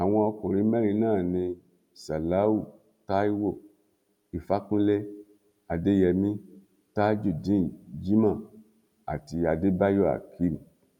àwọn ọkùnrin mẹrin náà ní ṣáláú taiwo ìfàkúnlẹ adéyèmí tajudeen jimoh àti adébáyò akeem